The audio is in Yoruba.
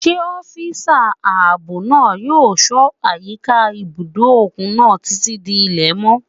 Ṣé ọ́físà ààbò náà yóò ṣọ́ àyíká ibùdó òkun náà títí di ilẹ̀ mọ́?